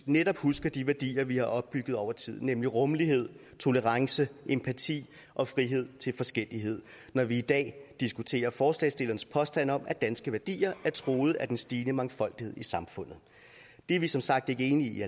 netop husker de værdier vi har opbygget over tid nemlig rummelighed tolerance empati og frihed til forskellighed når vi i dag diskuterer forslagsstillernes påstand om at danske værdier er truet af den stigende mangfoldighed i samfundet det er vi som sagt ikke enige i